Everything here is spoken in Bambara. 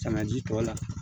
Sanga ji tɔ la